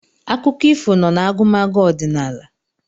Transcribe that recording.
Akụkọ ifo nọ n'agụmagụ ọdịnala